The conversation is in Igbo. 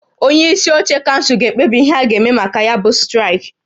Onye isi oche kansụl ga-ekpebi ihe a ga-eme maka ya bụ straịkị